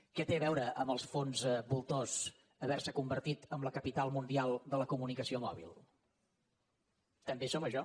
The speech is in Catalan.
què té a veure amb els fons voltors haver se convertit en la capital mundial de la comunicació mòbil també som això